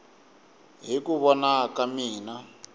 hi ku vona ka mina